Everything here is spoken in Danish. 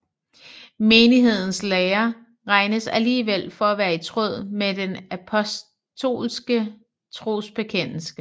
Menighedens lære regnes alligevel for at være i tråd med den apostoliske trosbekendelse